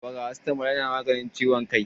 faracitamol yana maganin ciwon kai